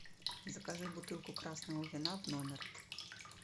закажи бутылку красного вина в номер